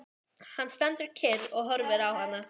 Hann stendur kyrr og horfir á hana.